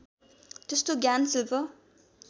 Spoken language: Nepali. त्यस्तो ज्ञान शिल्प